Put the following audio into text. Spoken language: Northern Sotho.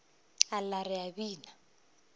a lla re a bina